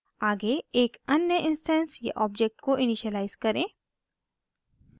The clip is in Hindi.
आगे एक अन्य इंस्टैंस या ऑब्जेक्ट को इनिशिअलाइज़ करें